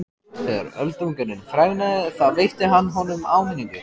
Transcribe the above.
Þegar Öldungurinn fregnaði það veitti hann honum áminningu.